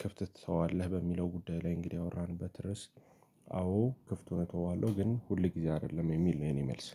ክፍት ትተዋለህ በሚለው ጉዳይ ላይ እንግዲህ ያወራንበት ርዕስ። አዎ ክፍቱን እተዋለሁ ግን ሁል ጊዜ አይደለም የሚል ነው የኔ መልስ።